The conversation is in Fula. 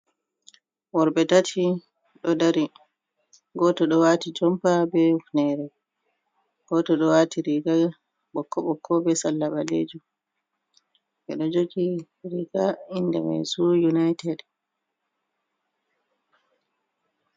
Worbe tati ɗo dari goto ɗo wati jompa be hifnere, goto ɗo wati riga bokko bokko be salla balejum, ɓe ɗo jogi riga inda mai su united.